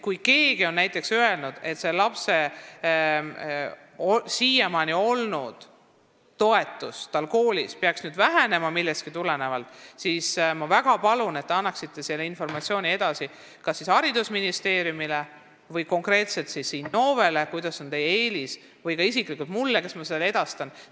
Kui keegi on öelnud, et kellegi lapse siiamaani saadud toetus peaks nüüd millegipärast vähenema, siis ma väga palun, et te annaksite selle informatsiooni edasi kas haridusministeeriumile, konkreetselt Innovele või ka isiklikult mulle, sest ma saan selle edastada.